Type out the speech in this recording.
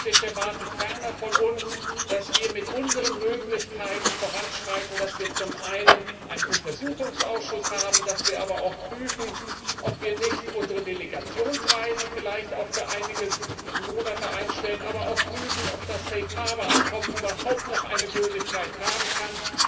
Und ich erwarte ferner von uns, dass wir mit unseren Möglichkeiten voranschreiten, dass wir zum einen einen Untersuchungsausschuss haben, dass wir aber auch prüfen, ob wir nicht vielleicht auch unsere Delegationsreisen für einige Monate einstellen, dass wir aber auch prüfen, ob das Safe Harbor Abkommen überhaupt noch Gültigkeit haben kann.